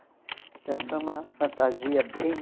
Então foi uma fantasia bem...